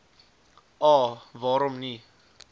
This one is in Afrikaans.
a waarom nie